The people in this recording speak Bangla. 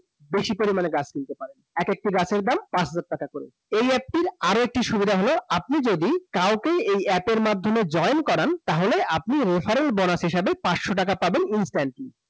বেশি পরিমাণে গাছ কিনতে পারেন। একেকটি গাছের দাম পাঁচ হাজার টাকা করে একটি, আরেকটি সুবিধা হলো, আপনি যদি কাউকে, এই অ্যাপ এর মাধ্যমে join করান, তাহলে আপনি reference bonus হিসেবে পাঁচশ টকা পাবেন instantly